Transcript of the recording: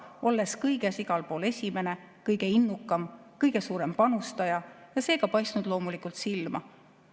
Olles kõiges ja igal pool esimene, kõige innukam, kõige suurem panustaja, on ta paistnud loomulikult silma.